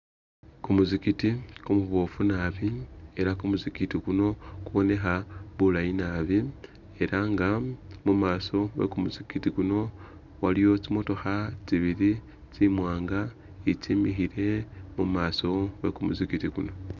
Kumusikiti kumubofu naabi elah kumusikiti kuno kubonekha bulaayi naabi elah nga mumaso mwekumusikiti kuno waliyo tsimotokha tsibili tsiwanga tsemikhile mumaso mwekumusikiti kuno